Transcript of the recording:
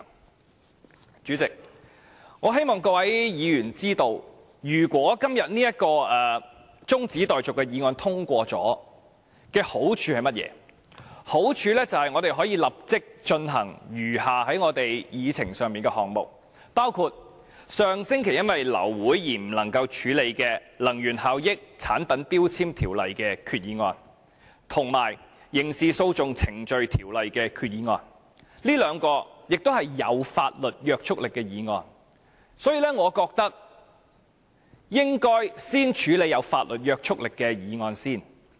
代理主席，我希望各位議員知道，若今天這項中止待續議案獲得通過，會有甚麼好處，就是我們可以立即處理議程上的餘下項目，包括上星期由於流會而無法處理的根據《能源效益條例》動議的擬議決議案，以及根據《刑事訴訟程序條例》動議的擬議決議案，這兩項均是具法律約束力的議案，我認為應該先處理具法律約束力的議案。